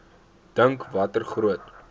dink watter groot